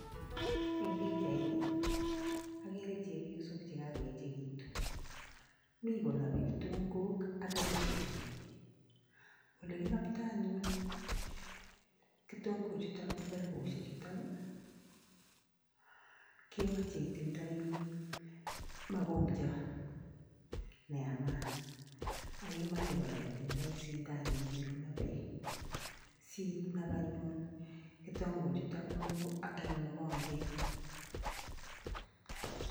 Eng pichaini ageere chepyosok chekakoechekitu, mi konapei kitongok ak kerepushiek. Ole kinaptoi anyuun kitongochuto ak kerepushek chutok kemachei itindoi makongiot neamat ak kemachei kora itindoi sundanot nekinapei sinap anyun kitongochuto eng mokonget.